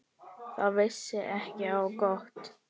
Það vissi ekki á gott.